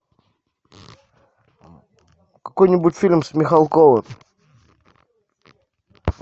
какой нибудь фильм с михалковым